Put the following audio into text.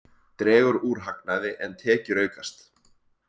Dregur úr hagnaði en tekjur aukast